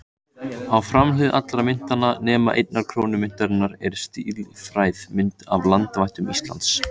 Á framhlið allra myntanna, nema einnar krónu myntarinnar, er stílfærð mynd af landvættum Íslands.